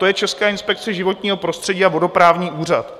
To je Česká inspekce životního prostředí a vodoprávní úřad.